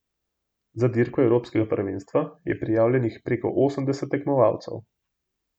Za dirko evropskega prvenstva je prijavljenih preko osemdeset tekmovalcev.